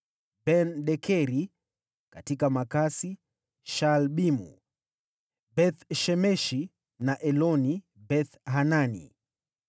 Ben-Dekeri: katika Makasi, Shaalbimu, Beth-Shemeshi na Elon-Bethhanani;